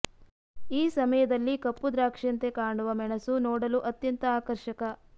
ಈ ಸಮಯದಲ್ಲಿ ಕಪ್ಪು ದ್ರಾಕ್ಷಿಯಂತೆ ಕಾಣುವ ಮೆಣಸು ನೋಡಲು ಅತ್ಯಂತ ಆಕರ್ಷಕ